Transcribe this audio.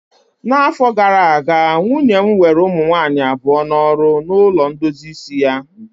N'afọ gara aga, nwunye m were ụmụ nwanyị abụọ n'ọrụ na ulo ndozi isi ya